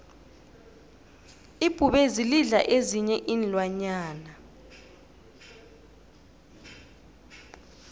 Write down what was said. ibhubezi lidla ezinyei iinlwanyana